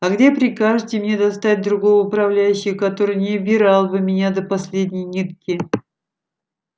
а где прикажете мне достать другого управляющего который не обирал бы меня до последней нитки